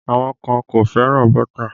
Àwọn kan kò fẹ́ràn bọ́tà